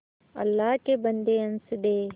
अल्लाह के बन्दे हंस दे